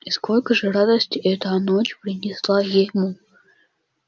и сколько же радости эта ночь принесла ему